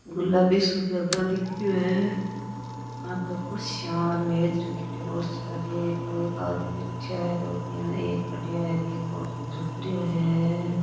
गुलाबी सो ज्यादा दिख्यो है आगे कुर्सियां और मेज़ रखयोड़ी बहोत सारी एक आदमी बाठिया है और एक खड़िया है और एक झुकरियो है।